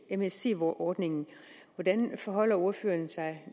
msc ordningen og hvordan forholder ordføreren sig